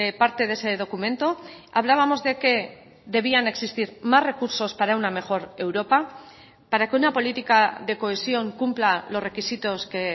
parte de ese documento hablábamos de que debían existir más recursos para una mejor europa para que una política de cohesión cumpla los requisitos que